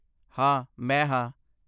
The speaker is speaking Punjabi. ਹਾਂ ਮੈਂ ਹਾਂ